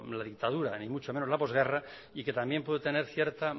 la dictadura ni mucho menos la posguerra y que también puede tener cierta